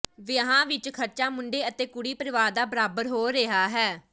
ਵਿਆਹਾਂ ਵਿੱਚ ਖਰਚਾ ਮੁੰਡੇ ਅਤੇ ਕੁੜੀ ਪਰਿਵਾਰ ਦਾ ਬਰਾਬਰ ਹੋ ਰਿਹਾ ਹੈ